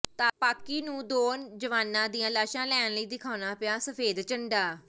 ਪਾਕਿ ਨੂੰ ਦੋ ਜਵਾਨਾਂ ਦੀਆਂ ਲਾਸ਼ਾਂ ਲੈਣ ਲਈ ਦਿਖਾਉਣਾ ਪਿਆ ਸਫ਼ੈਦ ਝੰਡਾ